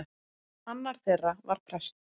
Annar þeirra var prestur.